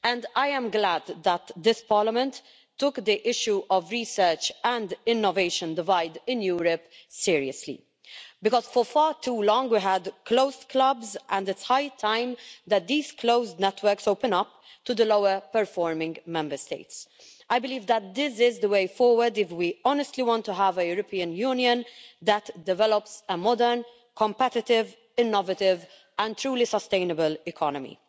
I am glad that this Parliament took the issue of the research and innovation divide in Europe seriously because for far too long we had closed clubs, and it's high time that these closed networks opened up to the lower-performing Member States. I believe that this is the way forward if we honestly want to have a European Union that develops a modern, competitive, innovative and truly sustainable economy.